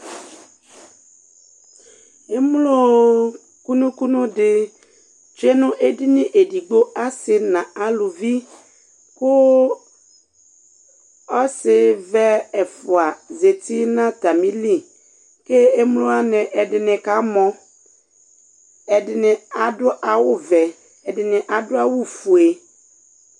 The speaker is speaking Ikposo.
Émló kunu kunu di tsué nu édigni edigbo asi na uluvi, ku ɔsi ʋɛ ɛfua zati na atamili Ké émlowani ɛdini ka mɔ, ɛdini adu awu ʋɛ, ɛdi adu awu fué